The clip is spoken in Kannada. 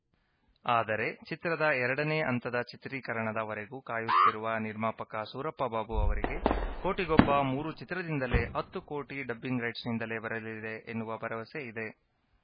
ಆದರೆ ಚಿತ್ರದ ಎರಡನೇ ಹಂತದ ಚಿತ್ರೀಕರಣದ ವರೆಗೂ ಕಾಯುತ್ತಿರುವ ನಿರ್ಮಾಪಕ ಸೂರಪ್ಪ ಬಾಬು ಅವರಿಗೆ ಕೋಟಿಗೊಬ್ಬ ಮೂರು ಚಿತ್ರದಿಂದಲೇ ಹತ್ತು ಕೋಟಿ ಡಬ್ಬಿಂಗ್‌ ರೈಟ್ಸ್‌ನಿಂದಲೇ ಬರಲಿದೆ ಎನ್ನುವ ಭರವಸೆ ಇದೆ